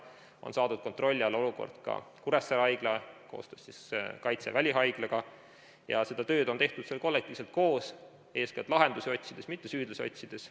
On saadud kontrolli alla olukord ka Kuressaare Haiglas, koostöös Kaitseväe välihaiglaga, ja seda tööd on tehtud seal kollektiivselt koos, eeskätt lahendusi, mitte süüdlasi otsides.